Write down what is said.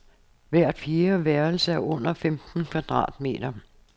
Hvert fjerde værelse er under femten kvadratmeter.